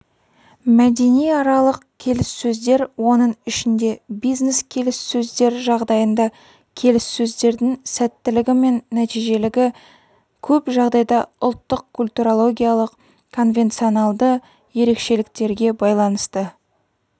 мәдениаралық келіссөздер оның ішінде бизнес-келіссөздер жағдайында келіссөздердің сәттілігі мен нәтижелігі көп жағдайда ұлттық-культурологиялық конвенционалды ерекшеліктерге байланысты